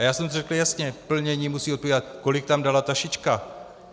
A já jsem řekl jasně, plnění musí odpovídat, kolik tam dala ta šička.